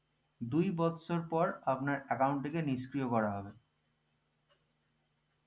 দুই বৎসর পর আপনার account থেকে নিষ্ক্রিয় করা হবে